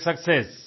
great success